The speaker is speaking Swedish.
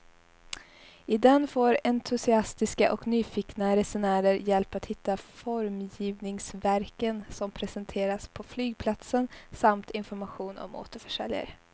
I den får entusiastiska och nyfikna resenärer hjälp att hitta formgivningsverken som presenteras på flygplatsen samt information om återförsäljare.